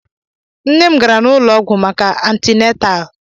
Nne m gara n'ụlọ ọgwụ maka antịnatal